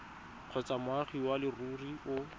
kgotsa moagi wa leruri o